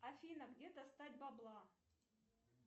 афина где достать бабла